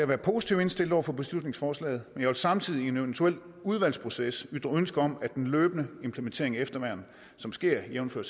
være positivt indstillet over for beslutningsforslaget men jeg vil samtidig i en eventuel udvalgsproces ytre ønske om at den løbende implementering af efterværn som sker jævnfør